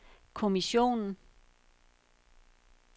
kommissionen